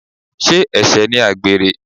Sé ẹ̀ṣẹ̀ ni àgbèrè?